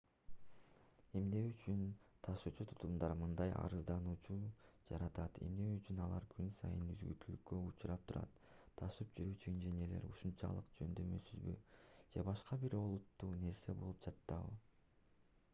эмне үчүн ташуучу тутумдар мындай арызданууларды жаратат эмне үчүн алар күн сайын үзгүлтүүккө учурап турат ташып жүрүүчү инженерлер ушунчалык жөндөмсүзбү же башка бир олуттуу нерсе болуп жатабы